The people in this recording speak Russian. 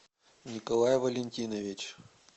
николай валентинович